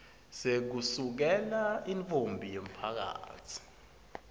sekusukela intfombi yemphakatsi